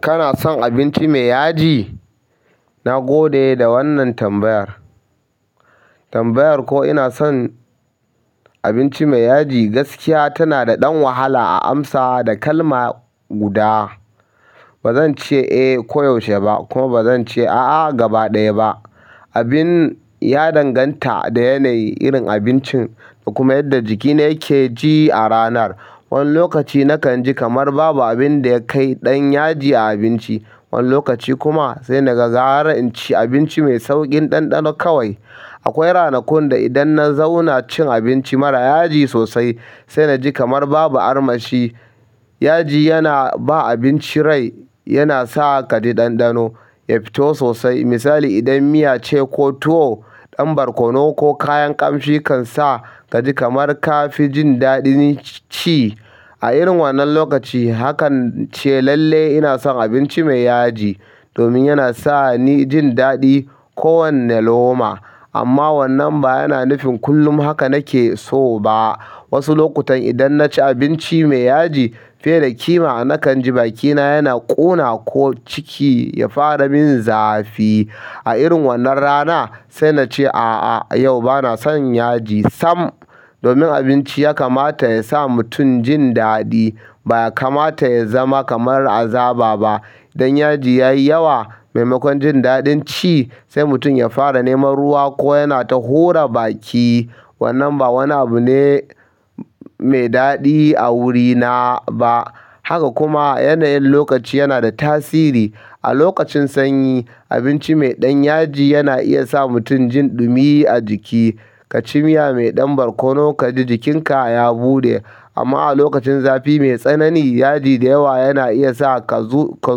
Kana son abinci mai yaji? Na gode da wannan tambayar. Tambayar ko ina son abinci mai yaji gaskiya tana da ɗan wahala a amsa da kalma guda. Ba zan ce eh ko yaushe ba kuma ba zan ce a'a gaba ɗaya ba. Abin ya danganta da yanayi, irin abincin da kuma yadda jikina yake ji a ranar. Wani lokaci nakan ji kamar babu abin da ya kai ɗan yaji a abinci, wani lokaci kuma sai na gara inci abinci mai sauƙin ɗanɗano kawai. Akwai ranakun da idan na zauna cin abinci mara yaji sosai sai na ji kamar babu armashi. Yaji yana ba abinci rai, yana sa ka ji ɗanɗano, ya fito sosai. Misali, idan miya ce ko tuwo, ɗan barkono ko kayan ƙamshi kan sa ka ji kamar ka fi jin daɗin ci. A irin wannan lokaci hakan ce lalle ina son abinci mai yaji domin yana sa ni jin daɗi kowanne loma. Amma wannan ba yana nufin kullum haka nake so ba. Wasu lokutan idan na ci abinci mai yaji fiye da kima nakan ji bakina yana ƙuna ko ciki ya fara min zafi. A irin wannan rana sai na ce a'a, yau ba na son yaji sam. Domin abinci ya kamata ya sa mutum jin daɗi, ba ya kamata ya zama kamar azaba ba. Idan yaji ya yi yawa maimakon jin daɗin ci sai mutum ya fara neman ruwa ko yana ta hura baki. Wannan ba wani abu ne mai daɗi a wurina ba. Haka kuma yanayin lokaci yana da tasiri. A lokacin sanyi, abinci mai ɗan yaji yana iya sa mutum jin ɗumi a jiki. Ka ci miya mai ɗan barkono ka ji jikinka ya buɗe. Amma a lokacin zafi mai tsanani, yaji da yawa yana iya sa ka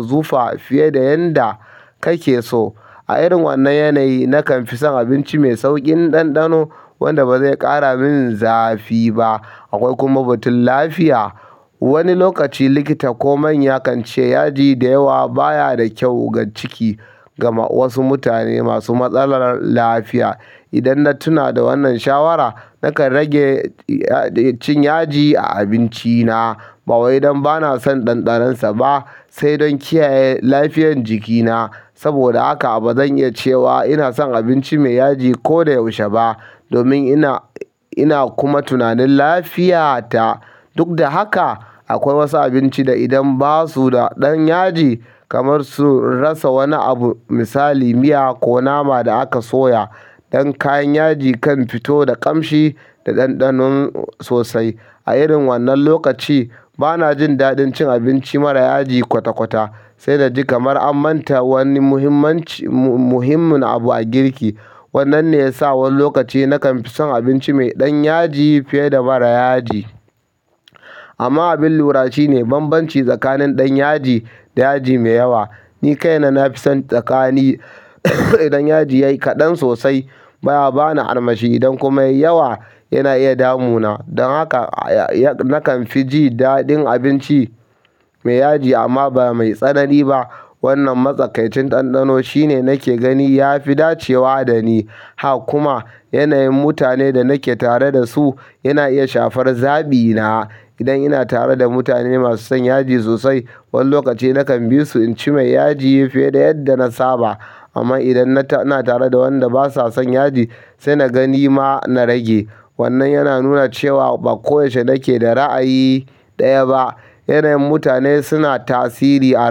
zufa fiye da yadda kake so. A irin wannan yanayi nakan fi son abinci mai sauƙin ɗanɗano wanda ba zai ƙara min zafi ba. Akwai kuma batun lafiya. Wani lokaci likita ko manya kan ce yaji da yawa baya da kyau ga ciki. Gama wasu mutane masu matsalar lafiya. Idan na tuna da wannan shawara nakan rage cin yaji a abinci na. Ba wai dan bana son ɗanɗanon sa ba, sai dan kiyaye lafiyan jikina saboda haka ba zan iya cewa ina son abinci mai yaji koyaushe ba domin ina, ina kuma tunanin lafiyata. Duk da haka akwai wasu abinci da idan ba su da ɗan yaji kamar su rasa wani abu. Misali miya ko nama da aka soya. Ɗan kayan yaji kan fito da ƙamshi da ɗanɗano sosai. A irin wannan lokaci ba na jin daɗin cin abinci mara yaji kwata-kwata. Sai na ji kamar an manta wani muhimmin abu a girki. Wannan ne ya sa wani lokaci nakan fi son abinci mai ɗan yaji fiye da mara yaji. Amma abin lura shine bambanci tsakanin ɗan yaji da yaji mai yawa. Ni kaina na fi son tsakani. Idan yaji ya yi kaɗan sosai baya ba ni armashi. Idan kuma ya yi yawa yana iya damu na. Don haka nakan fi jin daɗin abinci mai yaji amma ba mai tsanani ba. Wannan matsakaicin ɗanɗano shine nake gani ya fi dacewa da ni. Haka kuma yanayin mutanen da nake tare da su yana iya shafar zabi na. Idan ina tare da mutane maso son yaji sosai, wani lokaci nakan bisu inci mai yaji fiye da yanda na saba amma idan ina tare da wanda ba sa son yaji sai na gani ma na rage. Wannan yana nuna cewa ba koyaushe nake da ra'ayi ɗaya ba. Yanayin mutane suna tasiri a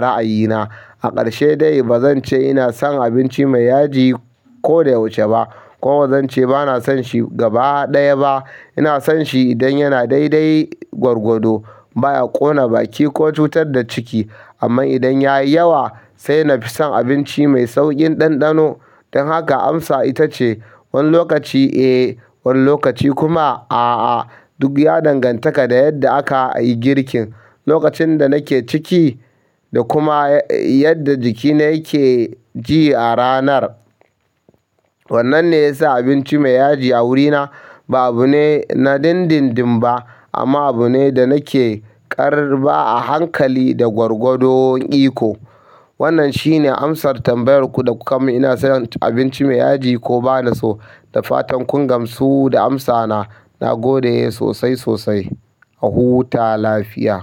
ra'ayina. A ƙarshe dai ba zan ce ina son abinci mai yaji koda yaushe ba kuma ba zan ce ba na son shi gaba ɗaya ba. Ina son shi idan yana daidai gwargwado, baya ƙona baki ko cutar da ciki. Amma idan ya yi yawa sai na fi son abinci mai sauƙin ɗanɗano. Dan haka amsa itace wani lokaci eh wani lokaci kuma a'a duk ya dangantaka da yadda aka yi girkin, lokacin da nake ciki da kuma yanda jikina yake ji a ranar. Wannan ne ya sa abinci mai yaji a wurina ba abu ne na dindindin ba amma abu ne da nake ƙarɓa a hankali da gwargwadon iko. Wannan shi ne amsar tambayar ku da kuka min ina son abinci mai yaji ko ba na so. Da fatan kun gamsu da amsa na. Na gode sosai, sosai. Ahuta lafiya.